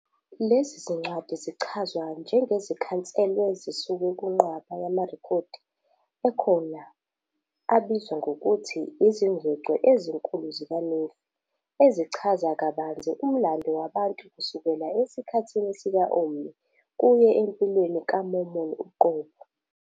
Lezi zincwadi zichazwa njengezikhanselwe zisuka kunqwaba yamarekhodi akhona abizwa ngokuthi "izingcwecwe ezinkulu zikaNefi" ezichaza kabanzi umlando wabantu kusukela esikhathini sika-Omni kuye empilweni kaMormon uqobo.